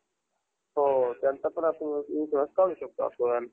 अं bank मध्ये हे अं काय म्हणत होती मी अं PAN card कसं काढायचं असतं ग?